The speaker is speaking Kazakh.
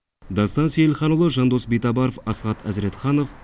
дастан сейілханұлы жандос битабаров асхат әзіретханов